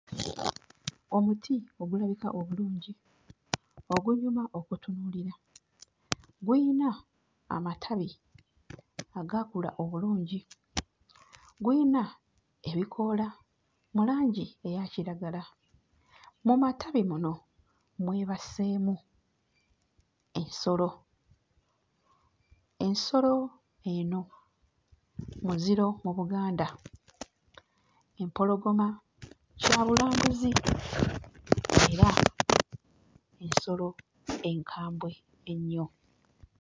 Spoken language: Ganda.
Omuti ogulabika obulungi ogunyuma okutunuulira, guyina amatabi agaakula obulungi, guyina ebikoola mu langi eya kiragala, mu matabi muno mwebaseemu ensolo, ensolo eno muziro mu Buganda. Empologoma kya bulambuzi era nsolo enkambwe ennyo.